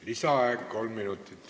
Lisaaeg kolm minutit.